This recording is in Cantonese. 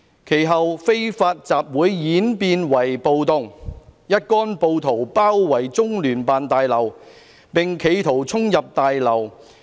其後非法集會演變為暴動，一干暴徒包圍中聯辦大樓，並企圖衝入大樓。